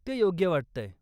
ते योग्य वाटतंय.